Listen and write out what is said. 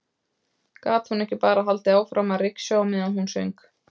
Gat hún ekki bara haldið áfram að ryksuga á meðan hún söng?